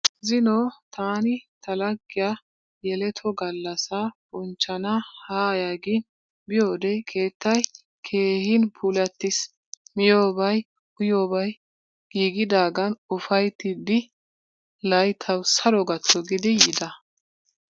Zino taani ta laggiyaa yeletto gallasaa bonchchana haaya gin biyoodee keettay keehin puulattiis, miyoobay uyiyoobay giigidaagan ufayttidi layttawu saro gatto giidi yiida.